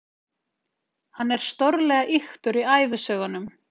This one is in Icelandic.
Hann er stórlega ýktur í ævisögunum.